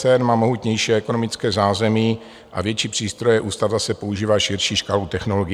CERN má mohutnější ekonomické zázemí a větší přístroje, ústav zase používá širší škálu technologií.